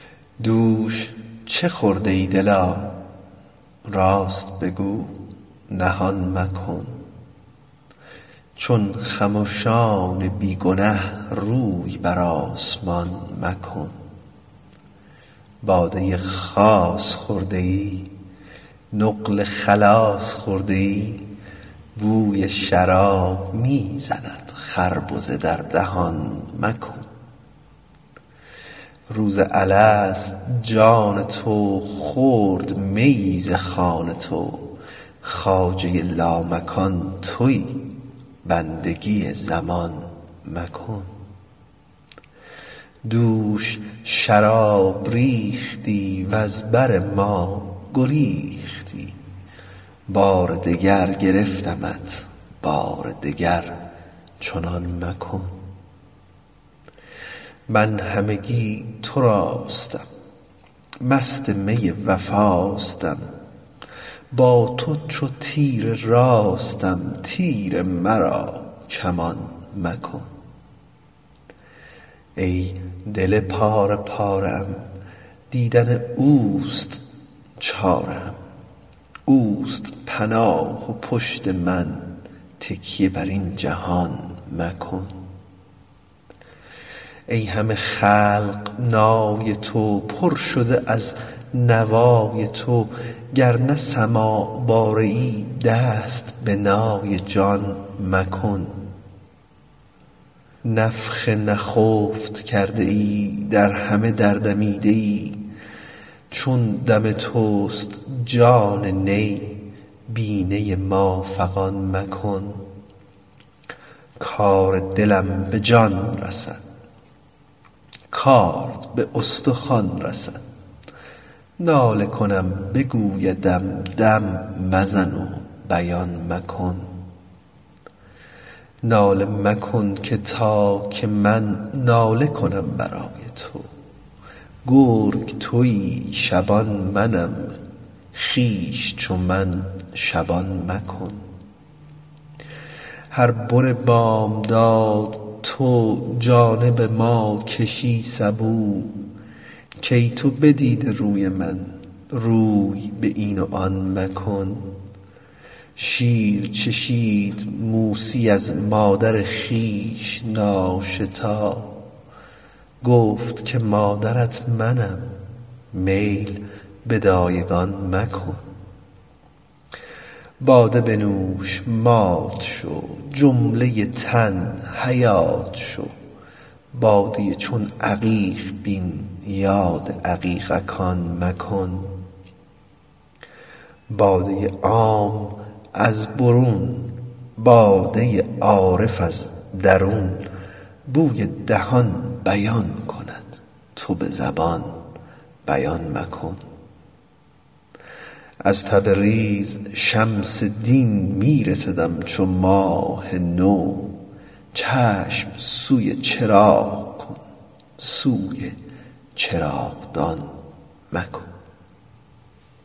دوش چه خورده ای دلا راست بگو نهان مکن چون خمشان بی گنه روی بر آسمان مکن باده خاص خورده ای نقل خلاص خورده ای بوی شراب می زند خربزه در دهان مکن روز الست جان تو خورد میی ز خوان تو خواجه لامکان تویی بندگی مکان مکن دوش شراب ریختی وز بر ما گریختی بار دگر گرفتمت بار دگر چنان مکن من همگی تراستم مست می وفاستم با تو چو تیر راستم تیر مرا کمان مکن ای دل پاره پاره ام دیدن اوست چاره ام اوست پناه و پشت من تکیه بر این جهان مکن ای همه خلق نای تو پر شده از نوای تو گر نه سماع باره ای دست به نای جان مکن نفخ نفخت کرده ای در همه در دمیده ای چون دم توست جان نی بی نی ما فغان مکن کار دلم به جان رسد کارد به استخوان رسد ناله کنم بگویدم دم مزن و بیان مکن ناله مکن که تا که من ناله کنم برای تو گرگ تویی شبان منم خویش چو من شبان مکن هر بن بامداد تو جانب ما کشی سبو کای تو بدیده روی من روی به این و آن مکن شیر چشید موسی از مادر خویش ناشتا گفت که مادرت منم میل به دایگان مکن باده بنوش مات شو جمله تن حیات شو باده چون عقیق بین یاد عقیق کان مکن باده عام از برون باده عارف از درون بوی دهان بیان کند تو به زبان بیان مکن از تبریز شمس دین می رسدم چو ماه نو چشم سوی چراغ کن سوی چراغدان مکن